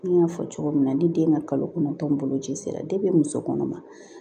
N y'a fɔ cogo min na ni den ka kalo kɔnɔntɔn boloci sera muso kɔnɔma